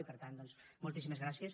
i per tant doncs moltíssimes gràcies